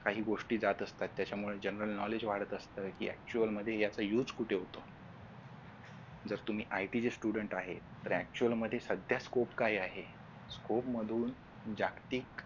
काही गोष्टी जात असतात त्याच्यामुळं general knowledge वाढत असतं कि actual मध्ये याचा use कुठे होतो जर तुम्ही It चे student आहे तर actual मध्ये सध्या scope काय आहे scope मधून जागतिक